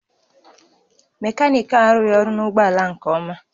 Mekaniki a arụghị ọrụ na ụgbọ ala a nke ọma